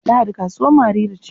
Lahadi kasuwar Mariri ce.